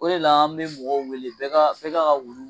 O de la an bɛ mɔgɔw wele bɛɛ k'a ka wulu